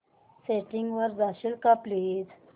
settings वर जाशील का प्लीज